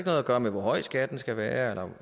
noget at gøre med hvor høj skatten skal være